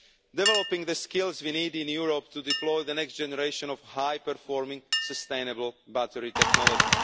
developing the skills we need in Europe to deploy the next generation of high performing, sustainable battery technology.